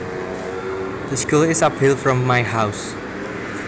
The school is uphill from my house